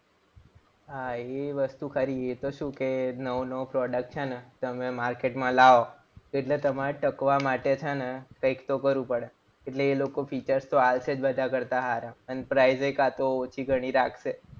હા એ વસ્તુ ખરી એ તો શું કે નવો નવો product છે ને તમે માર્કેટમાં લાવો. એટલે તમારે ટકવા માટે છે ને કંઈક તો કરવું પડે. એટલે એ લોકો features તો આવશે જ બધા કરતા સારા. અને પ્રાઈઝઈ કાતો ઓછી ઘણી રાખશે.